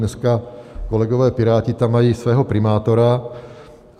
Dneska kolegové Piráti tam mají svého primátora.